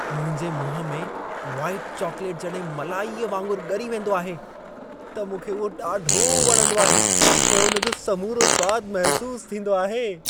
मुंहिंजे मुंहुं में व्हाईट चॉक्लेट जॾहिं मलाईअ वांगुर ॻरी वेंदो आहे, त मूंखे उहो ॾाढो वणंदो आहे ऐं उन जो समूरो स्वाद महिसूसु थींदो आहे।